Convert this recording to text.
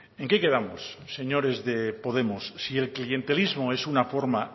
en qué quedamos señores de podemos si el clientelismo es una forma